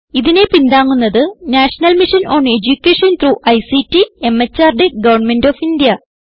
ഇതിനെ പിന്താങ്ങുന്നത് national mission on education through ICT MHRD government of India